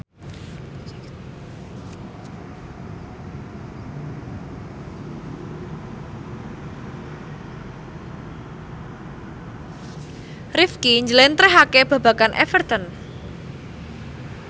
Rifqi njlentrehake babagan Everton